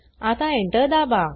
आता Enter दाबा